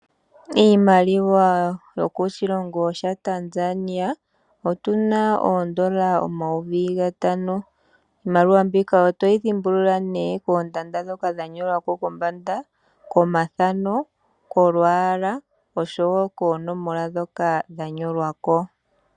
Iimaliwa yokoshilongo shaTanzania otuna oondola omayovi gatano, iimaliwa mbika otoyi dhimbulula nee koondanda dhoka dhanyolwa ko kombanda, komathano, kolwaala oshowo koonomola dhoka dhanyolwa ko.